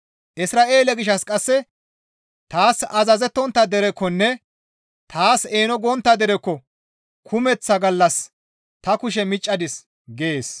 Isra7eele gishshas qasse, «Taas azazettontta derekkonne taas eeno gontta derekko kumeththa gallas ta kushe miccadis» gees.